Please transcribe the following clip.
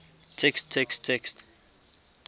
text text text